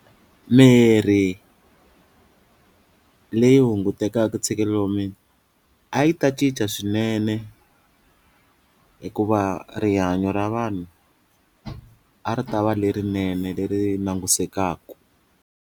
Mirhi leyi hunguteka ntshikelelo wa mina a yi ta cinca swinene hikuva rihanyo ra vanhu a ri ta va lerinene leri langusekaku.